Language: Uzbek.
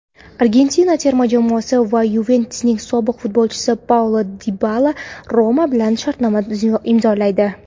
Argentina terma jamoasi va "Yuventus"ning sobiq futbolchisi Paulo Dibala "Roma" bilan shartnoma imzolaydi.